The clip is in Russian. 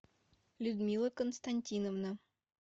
людмила константиновна